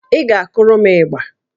Ị ga-akụrụ m ịgbà